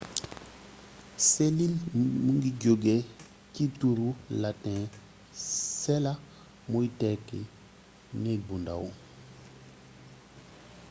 selill mu ngi jogé ci turu latin cella muy tekki néeg bu ndàw